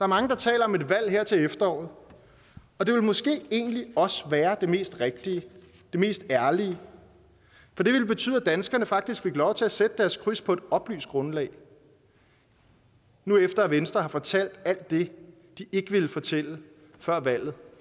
mange der taler om et valg her til efteråret og det ville måske egentlig også være det mest rigtige og det mest ærlige for det ville betyde at danskerne faktisk fik lov til at sætte deres kryds på et oplyst grundlag nu hvor venstre har fortalt alt det de ikke ville fortælle før valget